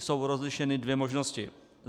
Jsou rozlišeny dvě možnosti.